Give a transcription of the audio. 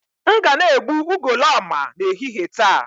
M ga na-egbu ugoloọma n'ehihie taa